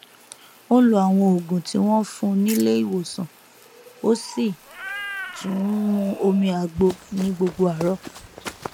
ó n lo àwọn òògùn tí wọn fún nílé ìwòsànó sì tún n mu omi àgbo ní gbogbo àárọ